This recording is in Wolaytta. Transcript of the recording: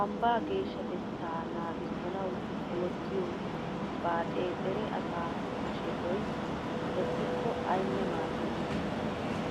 Ambbaa geeshshatettaa naagissanawu oottiyo baaxee dere asaa hashetoy leppikko aynne maaddenna.